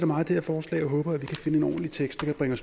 meget det her forslag og håber at vi kan finde en ordentlig tekst der kan